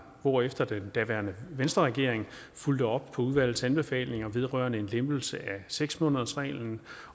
hvorefter den daværende venstreregering fulgte op på udvalgets anbefalinger vedrørende en lempelse af seks månedersreglen